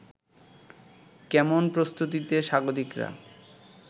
কেমন প্রস্তুতিতে স্বাগতিকরা